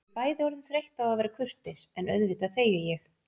Við erum bæði orðin þreytt á að vera kurteis en auðvitað þegi ég.